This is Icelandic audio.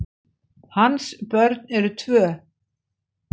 Hans börn eru tvö.